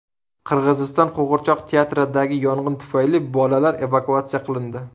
Qirg‘iziston qo‘g‘irchoq teatridagi yong‘in tufayli bolalar evakuatsiya qilindi.